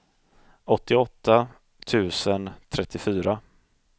åttioåtta tusen trettiofyra